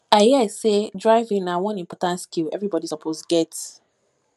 i hear sey driving na one important skill everybody suppose get